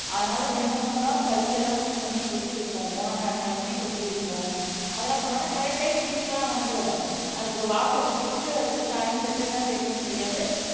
அதுனால இது என்ன பண்ணும் கைல எல்லாம் சில சமயம் கொத்தி வைக்கும் ஓணரா இருந்தாலுமே கொத்தி வைக்கும் அதல்லாம் பண்ணாலும் கரெக்ட் டைம் வீட்டுக்கு எல்லாம் வந்துரும் அதுக்கு வாட்சா கட்டி இருக்கு அதுக்கு டைம் எப்படித் தான் தெரியுமோ தெரியாது